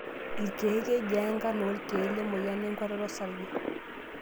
Ilkeek, kejia nkarn oo ilkeek lemoyian enkuatata osarge?